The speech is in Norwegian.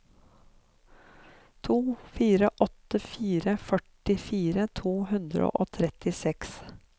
to fire åtte fire førtifire to hundre og trettiseks